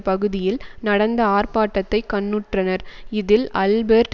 பகுதியில் நடந்த ஆர்ப்பாட்டத்தை கண்ணுற்றனர் இதில் அல்பெர்ட்